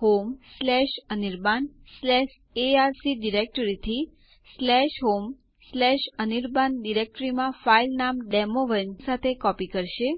હું પાસવર્ડ તરીકે ડક દાખલ કરીશ અને Enter કળ દબાવીશ